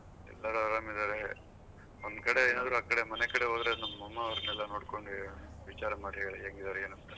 ಎಲ್ಲರೂ ಆರಾಮ್ ಇದಾರೆ ಒನ್ಕಡೆ ಏನಾದ್ರೂ ಆಕಡೆ ಮನೆ ಕಡೆ ಹೋದ್ರೆ ನಮ್ ಅಮ್ಮ ಅವರ್ನೆಲ್ಲ ನೋಡ್ಕೊಂಡು ಹೇಳು ವಿಚಾರ ಮಾಡಿ ಹೇಳು ಹೆಂಗ್ ಇದಾರೆ ಏನು ಅಂತ